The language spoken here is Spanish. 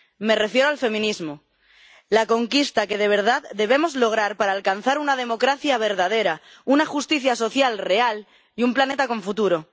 Me refiero al feminismo la conquista que de verdad debemos lograr para alcanzar una democracia verdadera, una justicia social real y un planeta con futuro.